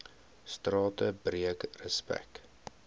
strate breek respek